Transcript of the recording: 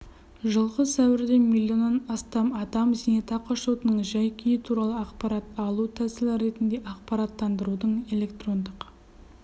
жылғы сәуірде миллионнан астам адам зейнетақы шотының жай-күйі туралы ақпарат алу тәсілі ретінде ақпараттанудың электрондық